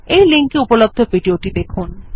এই লিঙ্ক এ উপলব্ধ ভিডিও টি দেখুন